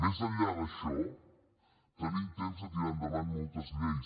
més enllà d’això tenim temps de tirar endavant moltes lleis